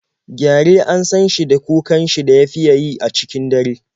Gyare an san shi da kukan shi da ya fiya yi a cikin dare.